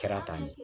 Kɛra tan de